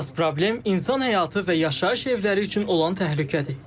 Əsas problem insan həyatı və yaşayış evləri üçün olan təhlükədir.